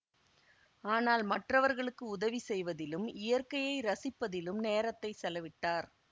ஆனால் மற்றவர்களுக்கு உதவி செய்வதிலும் இயற்கையை ரசிப்பதிலும் நேரத்தை செலவிட்டார்